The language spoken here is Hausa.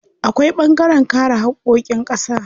Akwai ɓangaren kare haƙƙoƙin ƙasa.